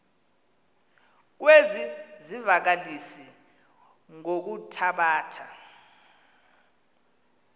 kwezi zivakalisi ngokuthabatha